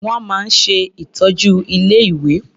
Wọ́n máa ń ṣe ìtọ́jú ilé-ìwé.